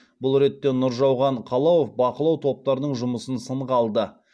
бұл ретте нұржауған қалауов бақылау топтарының жұмысын сынға алды